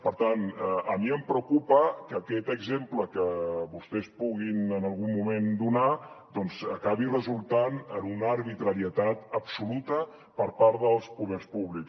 per tant a mi em preocupa que aquest exemple que vostès puguin en algun moment donar acabi resultant una arbitrarietat absoluta per part dels poders públics